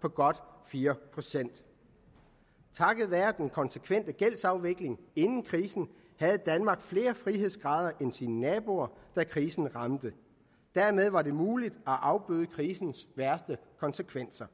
på godt fire procent takket være den konsekvente gældsafvikling inden krisen havde danmark flere frihedsgrader end sine naboer da krisen ramte dermed var det muligt at afbøde krisens værste konsekvenser